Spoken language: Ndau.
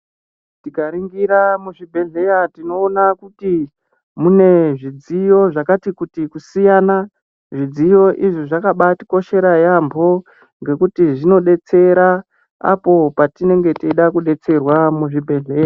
Tikaringira muzvibhedhlera tinoona kuti mune zvidziyo zvakati kuti kusiyana zvidziyo izvi zvakabaa tikoshera yaemho ngekuti zvinodetsera apo patinenge teida kudetserwa muzvibhedhlera.